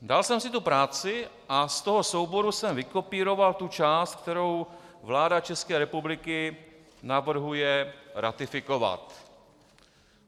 Dal jsem si tu práci a z toho souboru jsem vykopíroval tu část, kterou vláda České republiky navrhuje ratifikovat.